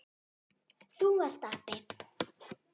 Þú ert api.